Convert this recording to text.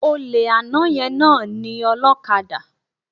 Olè àná yẹn náà ni ọlókadà